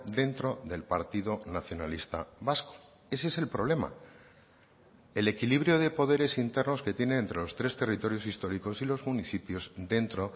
dentro del partido nacionalista vasco ese es el problema el equilibrio de poderes internos que tiene entre los tres territorios históricos y los municipios dentro